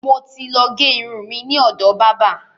Mo ti ló gé irun mi ni ọ̀dọ̀ bábà.